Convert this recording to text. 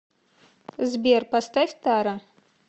сбер поставь тара